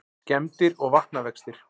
Skemmdir og vatnavextir